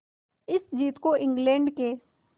इस जीत को इंग्लैंड के